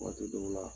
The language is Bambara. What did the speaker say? Waati dɔw la